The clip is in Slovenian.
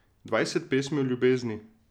Dvajset pesmi o ljubezni.